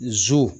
Zo